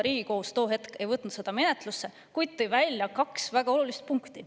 Riigikohus too hetk ei võtnud seda menetlusse, kuid tõi välja kaks väga olulist punkti.